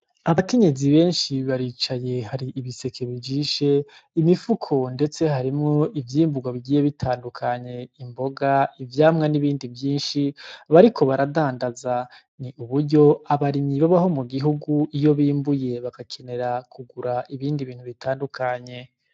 Abakinyezi benshi baricaye hari ibiseke bijishe imifuko, ndetse harimwo ivyimburwa bigiye bitandukanye imboga ivyamwa n'ibindi vyinshi bariko baradandaza ni uburyo abarimyi babaho mu gihugu iyo bimbuye bagakenera kugura ibindi bintu bitandukanye.